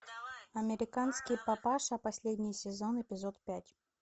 американский папаша последний сезон эпизод пять